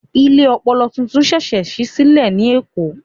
Ilé ọpọlọ tuntun ṣẹ̀ṣẹ̀ ṣí sílẹ̀ ní Èkó